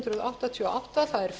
frú forseti það er